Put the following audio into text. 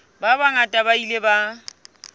ba bangata ba ile ba